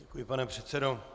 Děkuji, pane předsedo.